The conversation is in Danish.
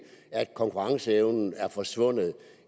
at konkurrenceevnen er forsvundet